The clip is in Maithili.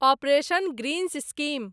operation greens scheme